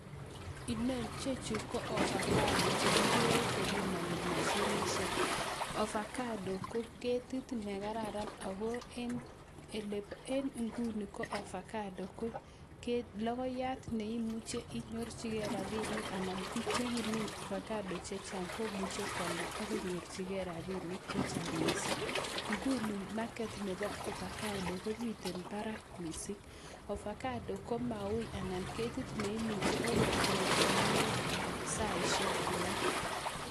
Chechu ko avocado chekikere kobimani mashinit avocado ko ketit nekararan ako en inguni ko avocado ko logoiyat neimuche inyorchigei rabinik anan ko bik chekimine avocado chechang komuche kwalda akinyorchigei rabinik chechang mising inguni market Nebo avocado komiten Barak mising ako avocado komauibako ketitneimuche okot korut inegen saishek alak